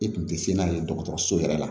I kun tɛ se n'a ye dɔgɔtɔrɔso yɛrɛ la